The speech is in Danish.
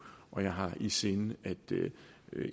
og jeg har i sinde at